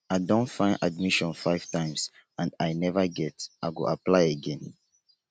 i don find admission five times and i neva get i go apply again